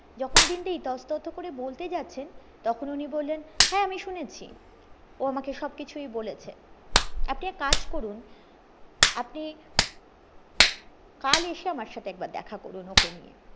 যখন দিন দা এই ইতস্ততঃ করে বলতে যাচ্ছেন তখন উনি বললেন হ্যাঁ আমি শুনেছি ও আমাকে সব কিছুই বলেছে আপনি এক কাজ করুন আপনি কাল এসে আমার সাথে একবার দেখা করুন ওকে নিয়ে